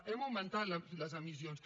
hem augmentat les emissions